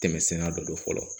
Tɛmɛsenna dɔ fɔlɔ